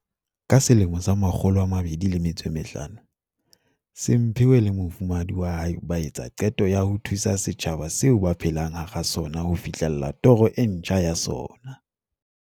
Ka 2005 Simphiwe le mofumahadi wa hae ba etsa qeto ya ho thusa setjhaba seo ba phelang hara sona ho fihlella toro e ntjha ya sona.